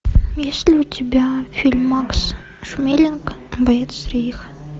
есть ли у тебя фильм макса шмелинга боец рейха